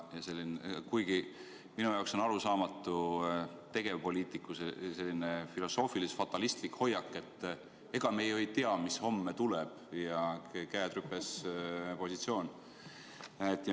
Kuigi minu jaoks on arusaamatu tegevpoliitiku selline filosoofilis-fatalistlik hoiak, et ega me ju ei tea, mis homme tuleb, ja käed-rüpes-positsioon.